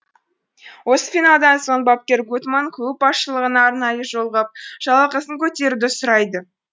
осы финалдан соң бапкер гуттманн клуб басшылығына арнайы жолығып жалақысын көтеруді сұрайды